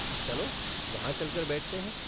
चलो! वहाँ चल कर बैठते हैं।